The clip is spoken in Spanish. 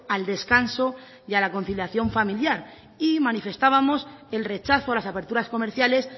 al descanso y a la conciliación familiar y manifestábamos el rechazo a las aperturas comerciales